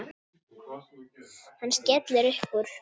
Hann skellir upp úr.